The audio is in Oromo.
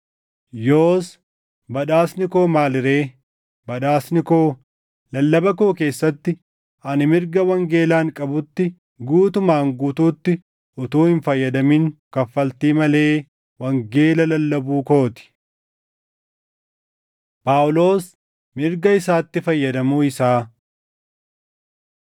Yoos badhaasni koo maali ree? Badhaasni koo, lallaba koo keessatti ani mirga wangeelaan qabutti guutuumaan guutuutti utuu hin fayyadamin kaffaltii malee wangeela lallabuu koo ti. Phaawulos Mirga Isaatti Fayyadamuu Isaa